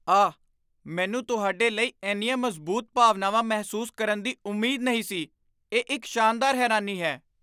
ਆਹ! ਮੈਨੂੰ ਤੁਹਾਡੇ ਲਈ ਇੰਨੀਆਂ ਮਜ਼ਬੂਤ ਭਾਵਨਾਵਾਂ ਮਹਿਸੂਸ ਕਰਨ ਦੀ ਉਮੀਦ ਨਹੀਂ ਸੀ ਇਹ ਇੱਕ ਸ਼ਾਨਦਾਰ ਹੈਰਾਨੀ ਹੈ